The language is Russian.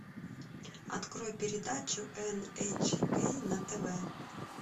открой передачу эн эйч кей на тв